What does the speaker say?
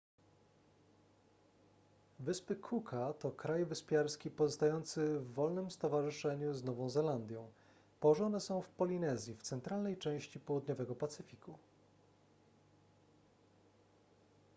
wyspy cooka to kraj wyspiarski pozostający w wolnym stowarzyszeniu z nową zelandią położone są w polinezji w centralnej części południowego pacyfiku